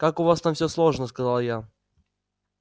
как у вас там всё сложно сказала я